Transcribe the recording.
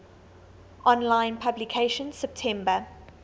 online publication september